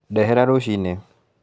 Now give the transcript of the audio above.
Ndehera ruciinĩ